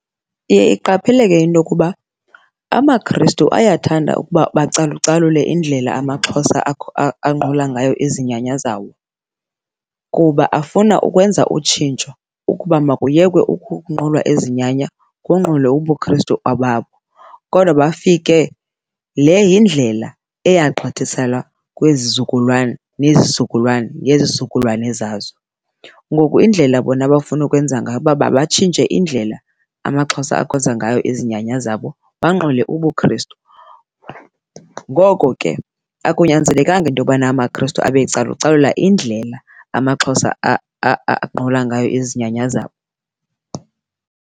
Iye iqapheleke into yokuba amaKrestu ayathanda ukuba bacalucalule indlela amaXhosa anqula ngayo izinyanya zawo kuba afuna ukwenza utshintsho ukuba makuyekwe ukunqulwa izinyanya kunqulwe ubuKrestu obabo, kodwa bafike, le yindlela eyagqithiselwa kwizizukulwana nezizukulwana nezizukulwana zazo. Ngoku indlela bona abafuna ukwenza ngayo kuba mabatshintshe indlela amaXhosa akhonza ngayo izinyanya zabo banqule ubuKrestu. Ngoko ke akunyanzelekanga into yobana amaKrestu abe ecalucalula indlela amaXhosa anqula ngayo izinyanya zabo.